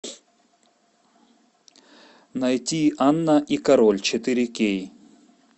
найти анна и король четыре кей